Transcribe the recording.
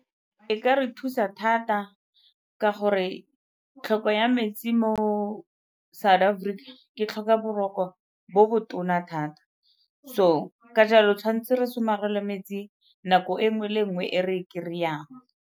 E ka re thusa thata ka gore tlhoko ya metsi mo South Africa ke tlhoka boroko bo bo tona thata, so ka jalo tshwanetse re somarele metsi nako e nngwe le nngwe e re kry-ang.